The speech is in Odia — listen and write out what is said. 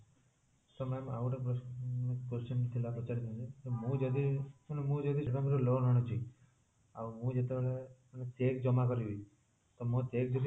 ତ ma'am ଆଉ ଗୋଟେ ପ୍ରସ question ଥିଲା ପଚାରିବା ପାଇଁ ମୁଁ ଯଦି ମାନେ ମୁଁ ଯଦି ସେଇ time ରେ loan ଆନୁଚି ଆଉ ମୁଁ ଯେତେବେଳେ check ଜମା କରିବି ତ ମୋର check ଯଦି